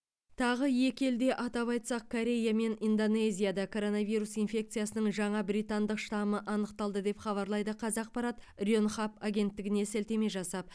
тағы екі елде атап айтсақ корея мен индонезияда коронавирус инфекциясының жаңа британдық штамы анықталды деп хабарлайды қазақпарат ренхап агенттігіне сілтеме жасап